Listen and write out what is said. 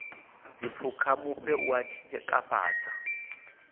dziphukha mufhe u a tshikafhala